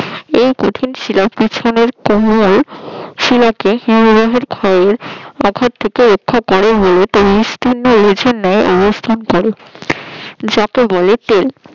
এই কঠিন শিলা পিছনের কোমল শীলাকে হিমবাহের ক্ষয় আঘাত থেকে রক্ষা করে বলে একটি বিস্তীর্ণ নেয় অবস্থান করে যাকে বলে টেপ